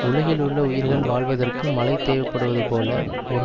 உலகில் உள்ள உயிர்கள் வாழ்வதற்கு மழை தேவைப்படுவது போல ஒரு